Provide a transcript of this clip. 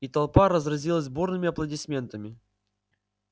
и толпа разразилась бурными аплодисментами